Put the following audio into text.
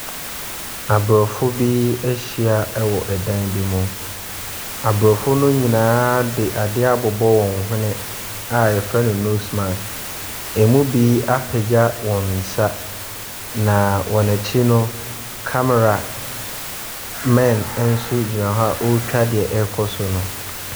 Aborɔfo bi ahyia wɔ dan bi mu. Aborɔfo no nyinaa de adeɛ abobɔ wɔn hwene a wɔfrɛ no nose mask. Ɛmu bi apagya wɔn nsa, na wɔn akyi no, cameramen nso gyina hɔ a wɔretwa deɛ ɛrekɔ so no.